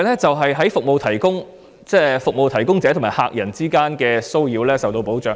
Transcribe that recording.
此外，服務提供者與客人之間的騷擾亦同樣受到保障。